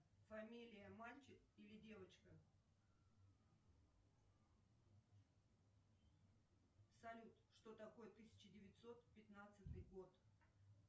фамилия мальчик или девочка салют что такое тысяча девятьсот пятнадцатый год